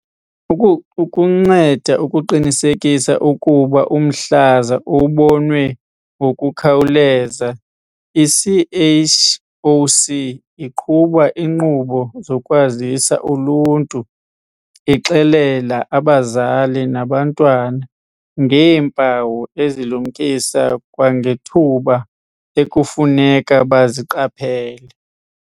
Ukunceda ukuqinisekisa ukuba umhlaza ubonwe ngokukhawuleza, i-CHOC iqhuba iinkqubo zokwazisa uluntu, ixelela abazali nabantwana ngeempawu ezilumkisa kwangethuba ekufuneka baziqaphele.